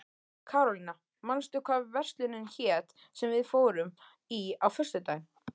Karólína, manstu hvað verslunin hét sem við fórum í á föstudaginn?